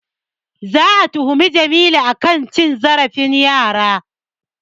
Za'a tuhumi Jamilu a kan cin zarafin yara.